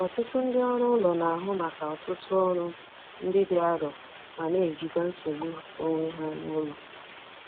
Ọtụtụ ndị ọrụ ụlọ na-ahụ maka ọtụtụ ọrụ ndị dị arọ ma na- ejikwa nsogbu onwe ha n'ụlọ.